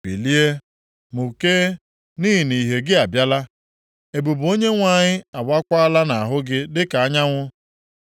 “Bilie, mụkee, nʼihi na ìhè gị abịala, ebube Onyenwe anyị awaakwala nʼahụ gị dịka anyanwụ.